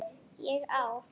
ÉG Á